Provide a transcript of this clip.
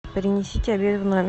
принесите обед в номер